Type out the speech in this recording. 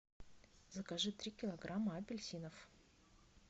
закажи три килограмма апельсинов